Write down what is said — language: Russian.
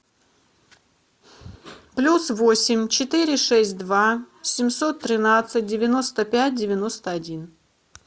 плюс восемь четыре шесть два семьсот тринадцать девяносто пять девяносто один